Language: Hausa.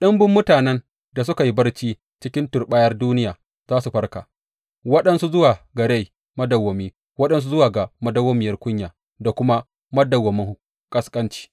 Ɗumbun mutanen da suka yi barci cikin turɓayar duniya za su farka, waɗansu zuwa ga rai madawwami, waɗansu zuwa ga madawwamiyar kunya da kuma madawwamin ƙasƙanci.